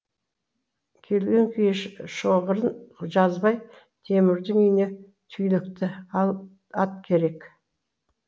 келген күйі шоғырын жазбай темірдің үйіне түйлікті ат керек